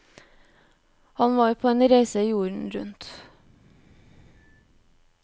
Han var på en reise jorden rundt.